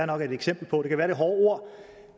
nok er et eksempel på det kan være er hårde ord